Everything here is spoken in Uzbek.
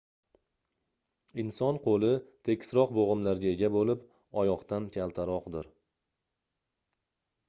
inson qoʻli tekisroq boʻgʻimlarga ega boʻlib oyoqdan kaltaroqdir